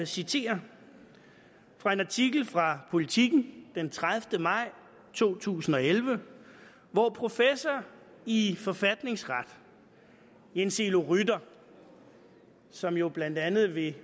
citere fra en artikel fra politiken den tredivete maj to tusind og elleve hvor professor i forfatningsret jens elo rytter som jo blandt andet vil